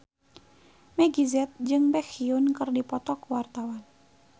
Meggie Z jeung Baekhyun keur dipoto ku wartawan